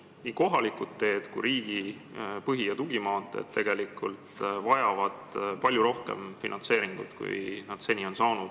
Nii kohalikud teed kui riigi põhi- ja tugimaanteed vajavad palju rohkem finantseeringut, kui need seni on saanud.